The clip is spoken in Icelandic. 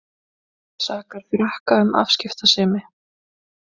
Sakar Frakka um afskiptasemi